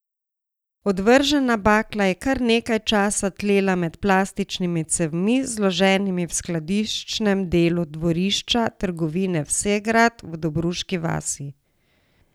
Odvržena bakla je kar nekaj časa tlela med plastičnimi cevmi, zloženimi v skladiščnem delu dvorišča trgovine Vsegrad v Dobruški vasi.